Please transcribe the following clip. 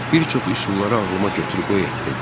Bir çox üsulları ağlıma gətirib qoy etdim.